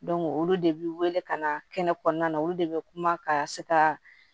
olu de bi wele ka na kɛnɛ kɔɔna na olu de be kuma ka se ka